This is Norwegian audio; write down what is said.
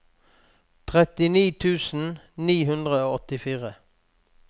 trettini tusen ni hundre og åttifire